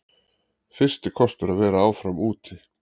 Fyrsti kostur að vera áfram úti